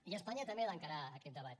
i espanya també ha d’encarar aquest debat